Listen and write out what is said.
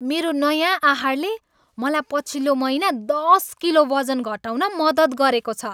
मेरो नयाँ आहारले मलाई पछिल्लो महिना दस किलो वजन घटाउन मद्दत गरेको छ।